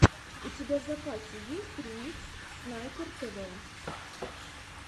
у тебя в запасе есть ремикс снайпер тв